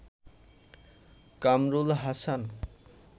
Kamrul Hasan